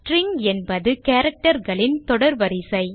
string என்பது characterகளின் தொடர் வரிசை